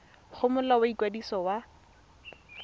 go molao wa ikwadiso wa